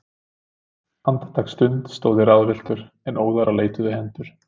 Andartaksstund stóð ég ráðvilltur, en óðara leituðu hendur